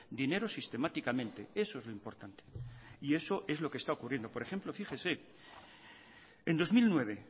dinero sistemáticamente eso es lo importante y eso es lo que está ocurriendo por ejemplo fíjese en dos mil nueve